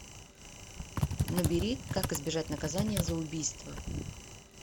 набери как избежать наказания за убийство